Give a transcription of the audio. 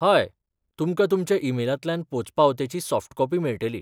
हय, तुमकां तुमच्या ईमेलांतल्यान पोंचपावतेची सॉफ्ट कॉपी मेळटली.